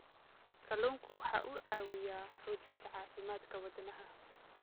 Kalluunku waxa uu caawiyaa xoojinta caafimaadka wadnaha.